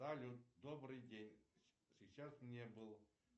салют добрый день сейчас не был